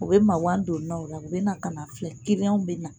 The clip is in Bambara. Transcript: U bɛ magan don n la o la u bɛ na ka n'a filɛ kiliyanw bɛ na